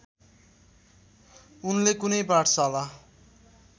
उनले कुनै पाठशाला